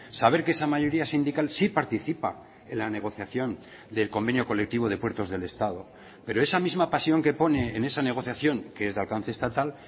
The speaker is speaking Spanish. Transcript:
saber que esa mayoría sindical sí participa en la negociación del convenio colectivo de puertos del estado pero esa misma pasión que pone en esa negociación que es de alcance estatal